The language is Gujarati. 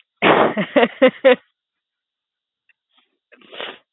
હેએએએએ.